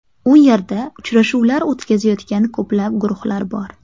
U yerda uchrashuvlar o‘tkazayotgan ko‘plab guruhlar bor.